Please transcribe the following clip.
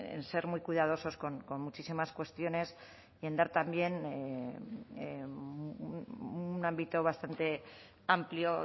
en ser muy cuidadosos con muchísimas cuestiones y en dar también un ámbito bastante amplio